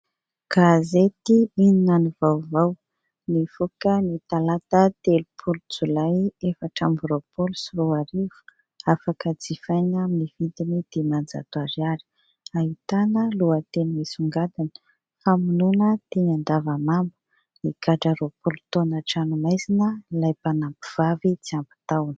Gazety inona ny vaovao, nivoaka ny talata telopolo jolay efatra amby roapolo sy roa arivo. Afaka jifaina amin'ny vidiny dimanjato ariary. Ahitana lohateny misongadina, famonoana teny Andavamamba, nigadra roapolo taona an-tranomaizina ilay mpanampy vavy tsy ampy taona.